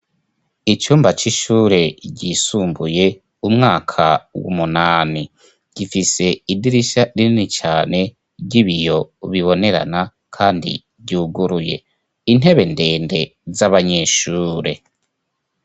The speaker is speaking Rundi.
icumba c'ishure ryisumbuye umwaka w'umunani gifise idirisha rinini cane ry'ibiyo bibonerana kandi ryuguruye intebe ndende z'abanyeshure